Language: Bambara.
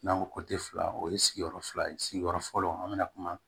N'an ko fila o ye sigiyɔrɔ fila ye sigiyɔrɔ fɔlɔ an bɛna kuma